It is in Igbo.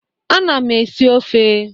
Ana m esi ofe.